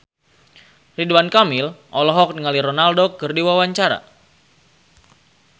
Ridwan Kamil olohok ningali Ronaldo keur diwawancara